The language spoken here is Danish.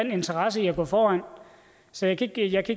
en interesse i at gå foran så jeg kan ikke